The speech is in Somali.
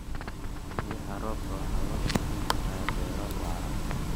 Biyaha roobka waxa loo kaydin karaa beero waara.